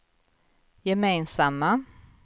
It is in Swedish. gemensamma